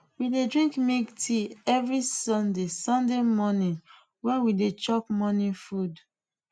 we dey drink milk tea every sunday sunday morning when we dey chop morning food